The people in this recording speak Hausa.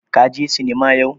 Ka je sinima yau?